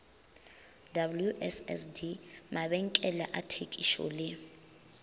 wssd mabenkele a thekišo le